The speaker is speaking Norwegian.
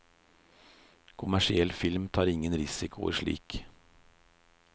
Kommersiell film tar ingen risikoer slik.